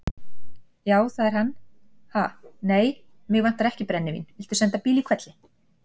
Já, það er hann, ha, nei, mig vantar ekki brennivín, viltu senda bíl í hvelli.